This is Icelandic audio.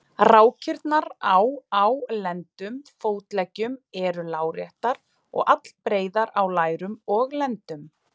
Rákirnar á á lendum og fótleggjum eru láréttar og allbreiðar á lærum og lendum.